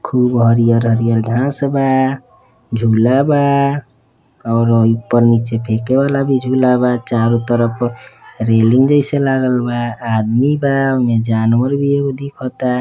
खुब हरियर हरियर घास बा। झूला बा और अ इपर नीचे फेके वाला भी झूला बा। चारों तरफ रेलिंग जैसे लागल बा। आदमी बा। ओमे जानवर भी एगो दिखता।